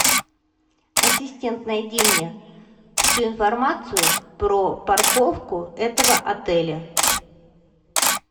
ассистент найди мне всю информацию про парковку этого отеля